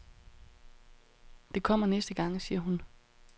Det kommer næste gang, siger hun.